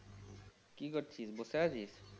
কি করছিস বসে আছিস?